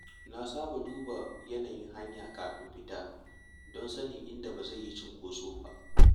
Na saba duba yanayin hanya kafin fita don sanin inda ba zai yi cinkoso ba.